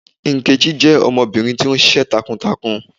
Nkechi jẹ ọmọbirin ti o ṣiṣẹ takuntakun